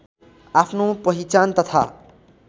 आफ्नो पहिचान तथा